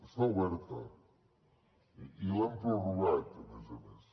està oberta i l’hem prorrogat a més a més